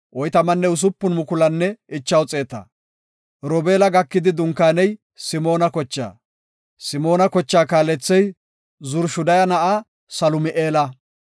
Robeela gakidi dunkaaney Simoona kochaa. Simoona kochaa kaalethey Zurishadaya na7a Salumi7eela.